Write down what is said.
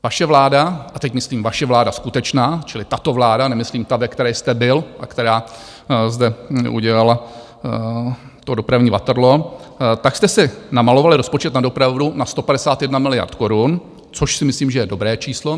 Vaše vláda, a teď myslím vaše vláda skutečná, čili tato vláda, nemyslím ta, ve které jste byl a která zde udělala to dopravní Waterloo, tak jste si namalovali rozpočet na dopravu na 151 miliard korun, což si myslím, že je dobré číslo.